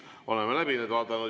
Oleme need läbi vaadanud.